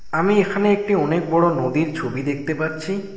আমি এখানে একটি অনেক বড়ো নদীর ছবি দেখতে পাচ্ছি।